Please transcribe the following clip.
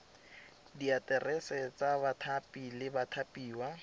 diaterese tsa bathapi le bathapiwa